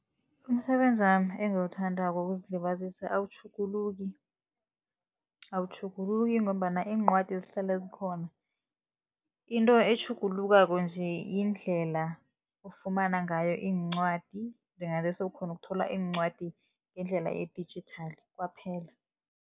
Umsebenzi wami engiwuthandako wokuzilibazisa awutjhuguluki, awutjhuguluki ngombana iincwadi zihlale zikhona. Into etjhugulukako nje yindlela ufumana ngayo iincwadi, njenganje sewukghona ukuthola iincwadi ngendlela edijithali kwaphela.